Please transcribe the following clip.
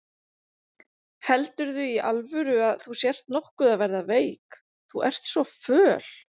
Heldurðu í alvöru að þú sért nokkuð að verða veik. þú ert svo föl?